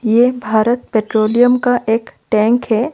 ये भारत पेट्रोलियम का एक टैंक है।